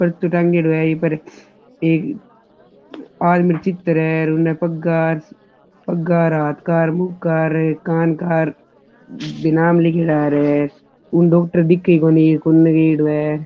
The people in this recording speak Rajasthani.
पर्चो टाँगेड़ो है इ पर एक आदमी को चित्र पग्गा हाथ का मुँह का कान का नाम लिखे जा रे है डॉक्टर दिखे ही कोणी किने गयेड़ो है।